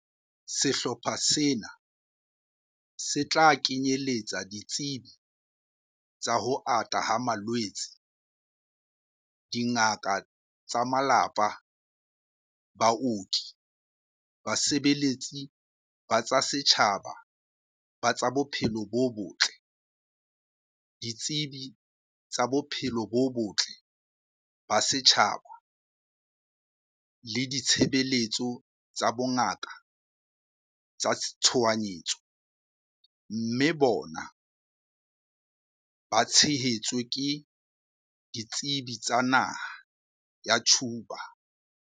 Sehlopha sena se tla kenyeletsa ditsebi tsa ho ata ha malwetse, dingaka tsa malapa, baoki, basebeletsi ba tsa setjhaba ba tsa bophelo bo botle, ditsebi tsa bophelo bo botle ba setjhaba le ditshebeletso tsa bongaka tsa tshohanyetso, mme bona ba tshehetswe ke ditsebi tsa naha ya Cuba.